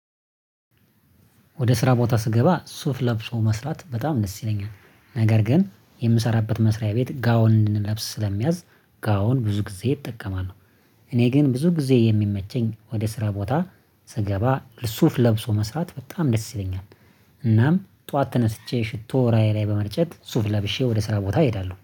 ወደ ስራ ቦታ ስገባ ሱፍ ለብሶ መስራት በጣም ደስ ይለኛል። ነገር ግን የምሰራበት መስሪያ ቤት ጋውን እንድንለብስ ስለሚያዝ ጋውን ብዙ ጊዜ እጠቀማለሁ። እኔ ግን ብዙ ጊዜ የሚመቸኝ ወደ ስራ ቦታ ስገባ ሱፍ ለብሶ መስራት በጣም ደስ ይለኛል። እናም ጠዋት ተነስቼ ሽቶ እለዬ ላይ በመርጨት ሱፍ ለብሼ ወደ ስራ ቦታ እሄዳለሁ